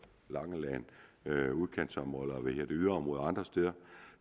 langeland udkantsområder yderområder og andre steder